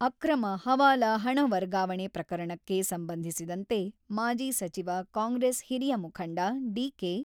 ಅಕ್ರಮ ಹವಾಲಾ ಹಣ ವರ್ಗಾವಣೆ ಪ್ರಕರಣಕ್ಕೆ ಸಂಬಂಧಿಸಿದಂತೆ ಮಾಜಿ ಸಚಿವ, ಕಾಂಗ್ರೆಸ್ ಹಿರಿಯ ಮುಖಂಡ ಡಿ.ಕೆ.